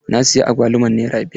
Na siya agwaluman nere biyar.